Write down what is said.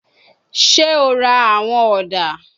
Ṣe o ra awọn oda?